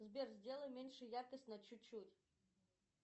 сбер сделай меньше яркость на чуть чуть